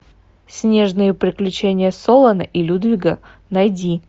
снежные приключения солана и людвига найди